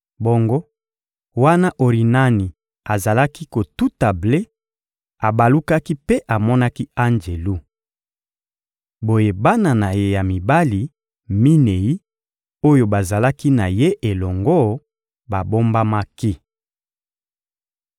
Bongo, wana Orinani azalaki kotuta ble, abalukaki mpe amonaki anjelu. Boye bana na ye ya mibali minei oyo bazalaki na ye elongo babombamaki.